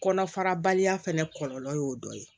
Kɔnɔ fara baliya fɛnɛ kɔlɔlɔ y'o dɔ ye